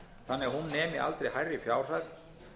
þannig að hún nemi aldrei hærri fjárhæð